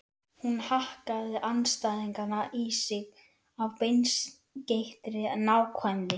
Hún hakkaði andstæðingana í sig af beinskeyttri nákvæmni.